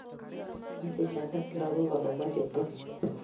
Mache Jebet lagok, amamache Tom